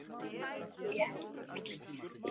Hann spilaði samtals tuttugu tímabil í meistaraflokki.